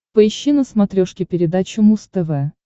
поищи на смотрешке передачу муз тв